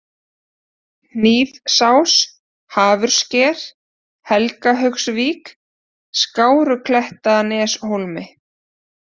Hnífsás, Hafurssker, Helgahaugsvík, Skáruklettaneshólmi